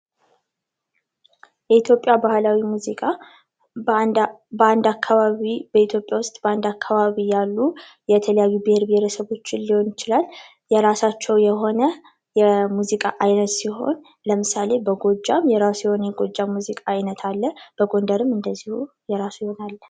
የኢትዮጵያ ባህላዊ ሙዚቃ ባንድ አካባቢ፣ በኢትዮጵያ ውስጥ በአንድ አካባቢ ያሉ የተለያዩ ብሄር ብሄረሰቦች ሊሆን ይችላል የራሳቸው የሆነ የሙዚቃ አይነት ሲሆን ለምሳሌ በጎጃም የራሱ የሆነ የጎጃም የሙዚቃ አይነት አለ በጎንደርም እንደዚያው ነው የራሱ የሆነ አለ።